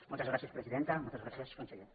moltes gràcies presidenta moltes gràcies conse· ller